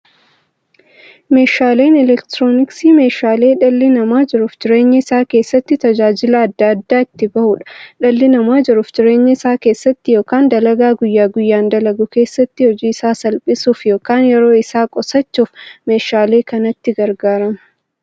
Meeshaaleen elektirooniksii meeshaalee dhalli namaa jiruuf jireenya isaa keessatti, tajaajila adda addaa itti bahuudha. Dhalli namaa jiruuf jireenya isaa keessatti yookiin dalagaa guyyaa guyyaan dalagu keessatti, hojii isaa salphissuuf yookiin yeroo isaa qusachuuf meeshaalee kanatti gargaarama.